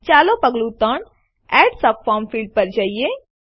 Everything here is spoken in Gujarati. ચાલો પગલું ૩Add સબફોર્મ ફિલ્ડ્સ પર જઈએ